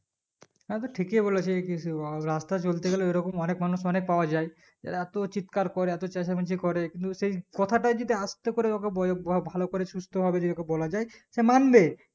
হ্যাঁ তো ঠিকই বলেছে রাস্তায় চলতে গেলে এই রকম অনেক মানুষ অনেক পাওয়া যাই এত চিৎকার করে এত চেচামেচি করে কিন্তু সেই কথাটাই যদি আস্তে করে ওকে বয়ে বভালো করে সুস্থ ভাবে যদি ওকে বলা যাই সে মানবে